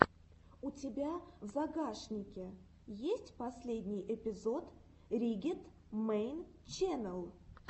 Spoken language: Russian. у тебя в загашнике есть последний эпизод риггет мэйн ченнэл